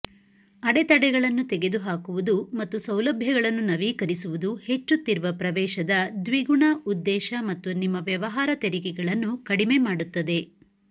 ಅಡೆತಡೆಗಳನ್ನು ತೆಗೆದುಹಾಕುವುದು ಮತ್ತು ಸೌಲಭ್ಯಗಳನ್ನು ನವೀಕರಿಸುವುದು ಹೆಚ್ಚುತ್ತಿರುವ ಪ್ರವೇಶದ ದ್ವಿಗುಣ ಉದ್ದೇಶ ಮತ್ತು ನಿಮ್ಮ ವ್ಯವಹಾರ ತೆರಿಗೆಗಳನ್ನು ಕಡಿಮೆ ಮಾಡುತ್ತದೆ